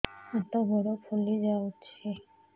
ହାତ ଗୋଡ଼ ଫୁଲି ଯାଉଛି